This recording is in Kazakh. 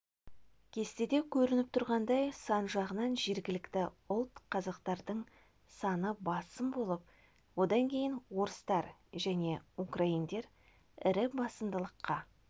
кестеде көрініп тұрғандай сан жағынан жергілікті ұлт қазақтардың саны басым болып одан кейін орыстар және украиндар ірі басымдылыққа